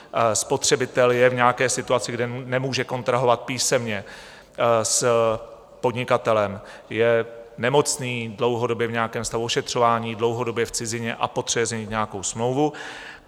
Spotřebitel je v nějaké situaci, kde nemůže kontrahovat písemně s podnikatelem, je nemocný dlouhodobě, v nějakém stavu ošetřování, dlouhodobě v cizině a potřebuje změnit nějakou smlouvu.